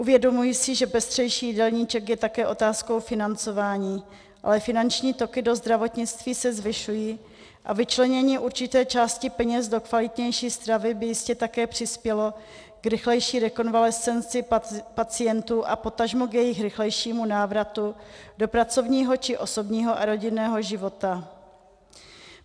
Uvědomuji si, že pestřejší jídelníček je také otázkou financování, ale finanční toky do zdravotnictví se zvyšují a vyčlenění určité části peněz do kvalitnější stravy by jistě také přispělo k rychlejší rekonvalescenci pacientů a potažmo k jejich rychlejšímu návratu do pracovního či osobního a rodinného života.